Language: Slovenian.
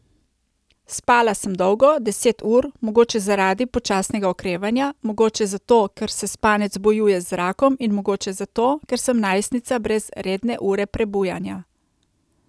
Spala sem dolgo, deset ur, mogoče zaradi počasnega okrevanja, mogoče zato, ker se spanec bojuje z rakom, in mogoče zato, ker sem najstnica brez redne ure prebujanja.